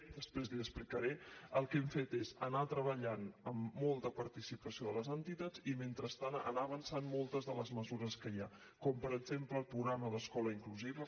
després l’hi explicaré el que hem fet és anar treballant amb molta participació de les entitats i mentrestant anar avançant moltes de les mesures que hi ha com per exemple el programa d’escola inclusiva